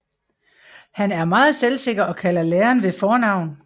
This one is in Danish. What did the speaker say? Han er meget selvsikker og kalder læreren ved fornavn